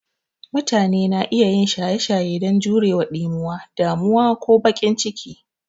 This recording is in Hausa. Mutane na iya yin shaye shaye don jurewa ɗimuwa, damuwa, ko bakin ciki.